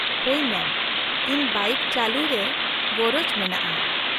-ᱦᱳᱭ ᱢᱮᱢ , ᱤᱧ ᱵᱟᱭᱤᱠ ᱪᱟᱹᱞᱩᱭ ᱨᱮ ᱜᱚᱨᱚᱡᱽ ᱢᱮᱱᱟᱜᱼᱟ ᱾